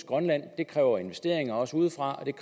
grønland kræver investeringer også udefra og